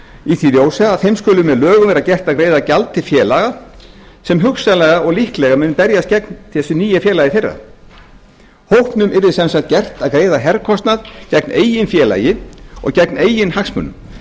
í því ljósi að þeim skuli með lögum vera gert að greiða gjald til félaga sem hugsanlega og líklega mun berjast gegn þessu nýja félagi þeirra hópnum yrði sem sagt gert að greiða herkostnað gegn eigin félagi og gegn eigin hagsmunum